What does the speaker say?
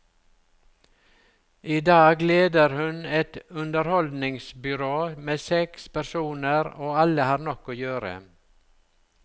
I dag leder hun et underholdningsbyrå med seks personer, og alle har nok å gjøre.